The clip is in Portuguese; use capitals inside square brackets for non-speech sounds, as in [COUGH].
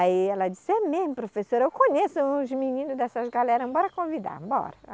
Aí ela disse, é mesmo, professora, eu conheço uns meninos dessas galera, bora convidar, bora. [UNINTELLIGIBLE]